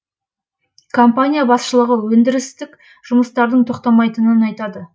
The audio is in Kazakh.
компания басшылығы өндірістік жұмыстардың тоқтамайтынын айтады